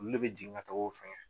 Olu de bɛ jigin ka taga o fɛngɛ